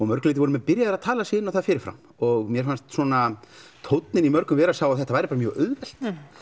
mörgu leiti voru menn byrjaðir að tala sig inn á það fyrir fram og mér fannst svona tóninn í mörgum vera sá að þetta væri bara mjög auðvelt